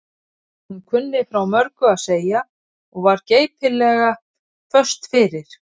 Hún kunni frá mörgu að segja og var geipilega föst fyrir.